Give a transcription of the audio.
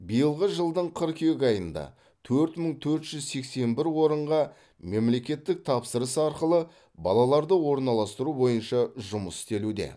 биылғы жылдың қыркүйек айында төрт мың төрт жүз сексен бір орынға мемлекеттік тапсырыс арқылы балаларды орналастыру бойынша жұмыс істелуде